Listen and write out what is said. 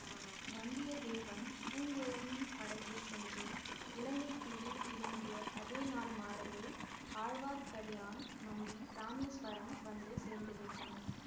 வந்தியத்தேவன் பூங்குழலியின் படகில் சென்று இலங்கை தீவில் இறங்கிய அதே நாள் மாலையில் ஆழ்வார்க்கடியான் நம்பி இராமேசுவரம் வந்து சேர்ந்துவிட்டான்